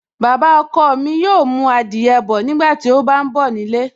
Baba ọkọ mi yóò mú adìyẹ bọ̀ nígbàtí ó bá ń bọ̀ nílé